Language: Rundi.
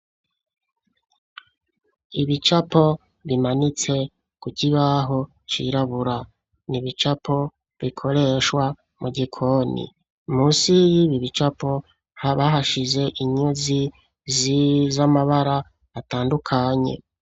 Ibicapo bimanitse ku kibaho cirabura, ni ibicapo bikoreshwa mu gikoni. Musi y'ibi bicapo, haba hashize inyuzi z'amabara atandukanye.